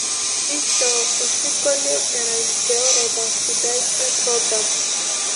injoo osinkolio erany te orodha sidai e program